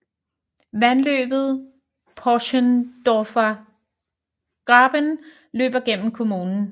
Vandløbet Pöschendorfer Graben løber gennem kommunen